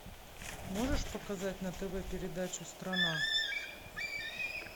можешь показать на тв передачу страна